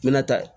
N mɛna tan